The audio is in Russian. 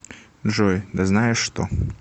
джой да знаешь что